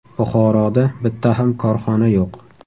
Buxoroda bitta ham korxona yo‘q.